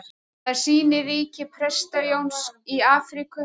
Það sýnir ríki Presta-Jóns í Afríku.